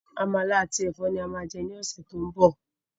Àmàlà àti Ẹ̀fọ́ ni a máa jẹ ní ọ̀sẹ̀ to ń bọ̀.